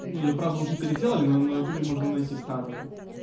ну её правда уже переделали но на ютубе можно найти старую